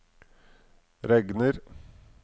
regner